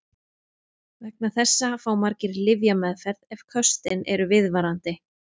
Vegna þessa fá margir lyfjameðferð ef köstin eru viðvarandi.